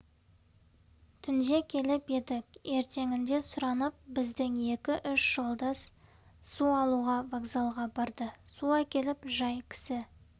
түнде келіп едік ертеңінде сұранып біздің екі-үш жолдас су алуға вокзалға барды су әкеліп жай кісі